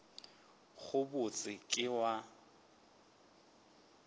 go bot se ke wa